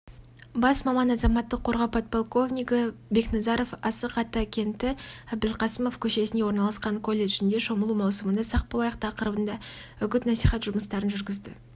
бас маман азаматтық қорғау подполковнигі бекназаров асық-ата кенті әбілқасымов көшесінде орналасқан колледжінде шомылу маусымында сақ болайық тақырыбында үгіт-насихат жұмыстарын жүргізді